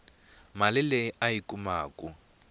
mali leyi a yi kumaku